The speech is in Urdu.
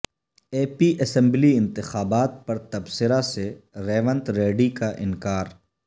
اے پی اسمبلی انتخابات پر تبصرہ سے ریونت ریڈی کا انکار